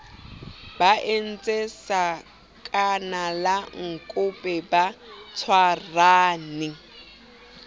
ba entse sakanalankope ba tshwarane